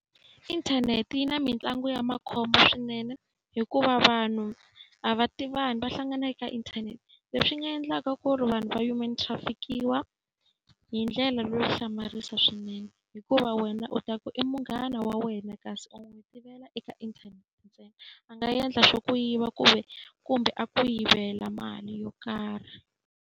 Inthanete yi na mitlangu ya makhombo swinene, hikuva vanhu a va tivani va hlangana eka inthanete. Leswi nga endlaka ku ri vanhu va human traffic-iwa hi ndlela leyo hlamarisa swinene. Hikuva wena u ta ku i munghana wa wena kasi u n'wi tivela eka inthanete ntsena, a nga endla xo ku yiva kumbe a ku yivela mali yo karhi.